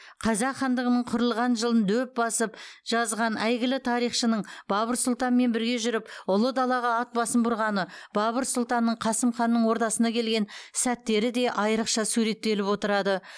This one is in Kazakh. қазақ хандығының құрылған жылын дөп басып жазған әйгілі тарихшының бабыр сұлтанмен бірге жүріп ұлы далаға ат басын бұрғаны бабыр сұлтанның қасым ханның ордасына келген сәттері де айрықша суреттеліп отырады